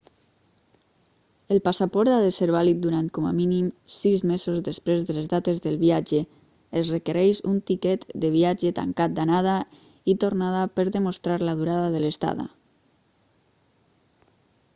el passaport ha de ser vàlid durant com a mínim 6 mesos després de les dates del viatge. es requereix un tiquet de viatge tancat/d'anada i tornada per demostrar la durada de l'estada